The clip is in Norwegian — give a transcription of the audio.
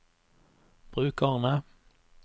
brukerne